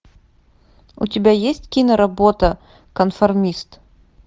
у тебя есть киноработа конформист